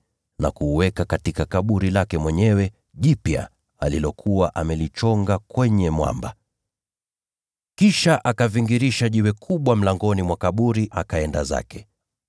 na kuuweka katika kaburi lake mwenyewe jipya, alilokuwa amelichonga kwenye mwamba. Kisha akavingirisha jiwe kubwa katika ingilio la kaburi, akaenda zake.